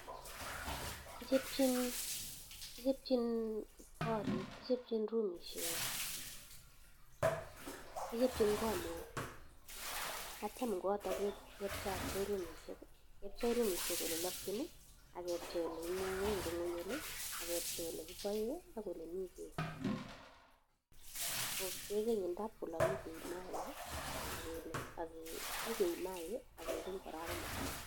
Kichopchin korik, kichopchin rumishek, kichopchin kot neo ak kityo en kooto kepchei rumishek ole lokyin ak kepchei ole imung'en, ak kepchei ole kiboen ak ole mi beek. Keegen indap kolk maaik nyekeib maaik ak kegeny kora baga mutai.